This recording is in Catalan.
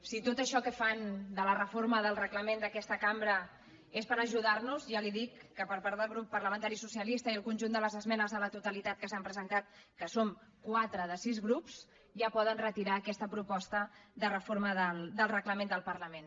si tot això que fan de la reforma del reglament d’aquesta cambra és per ajudar nos ja li dic que per part del grup parlamentari socialista i pel conjunt de les esmenes a la totalitat que s’han presentat que som quatre de sis grups ja poden retirar aquesta proposta de reforma del reglament del parlament